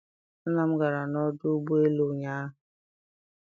Nna m gara n'ọdụ ụgbọ elu ụnyahụ.